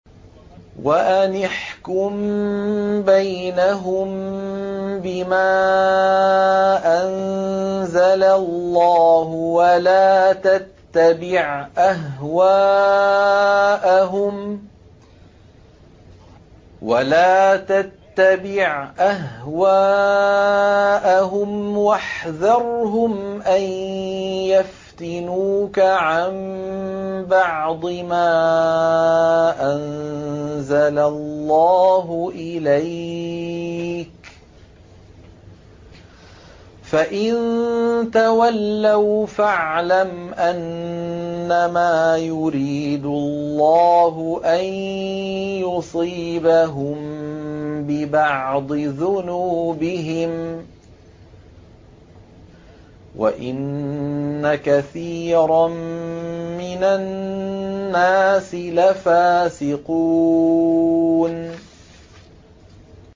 وَأَنِ احْكُم بَيْنَهُم بِمَا أَنزَلَ اللَّهُ وَلَا تَتَّبِعْ أَهْوَاءَهُمْ وَاحْذَرْهُمْ أَن يَفْتِنُوكَ عَن بَعْضِ مَا أَنزَلَ اللَّهُ إِلَيْكَ ۖ فَإِن تَوَلَّوْا فَاعْلَمْ أَنَّمَا يُرِيدُ اللَّهُ أَن يُصِيبَهُم بِبَعْضِ ذُنُوبِهِمْ ۗ وَإِنَّ كَثِيرًا مِّنَ النَّاسِ لَفَاسِقُونَ